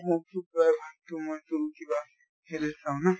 মই চোন কিবা হেৰি চাওঁ না